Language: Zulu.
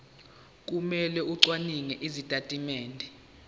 kumele acwaninge izitatimende